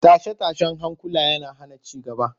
Tashe-tashen hankula yana hana ci gaba